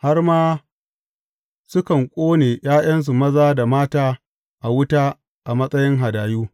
Har ma sukan ƙone ’ya’yansu maza da mata a wuta a matsayin hadayu.